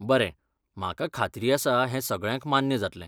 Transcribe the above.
बरें, म्हाका खात्री आसा हें सगळ्यांक मान्य जातलें.